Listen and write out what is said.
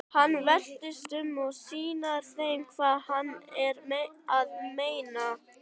Hann veltist um og sýnir þeim hvað hann er að meina.